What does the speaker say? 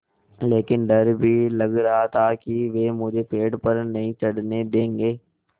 लेकिन डर भी लग रहा था कि वे मुझे पेड़ पर नहीं चढ़ने देंगे